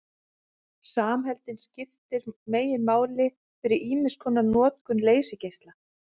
Samheldnin skiptir meginmáli fyrir ýmiskonar notkun leysigeisla.